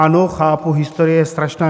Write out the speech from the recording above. Ano, chápu, historie je strašná.